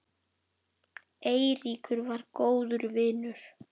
Eiríkur var góður vinur.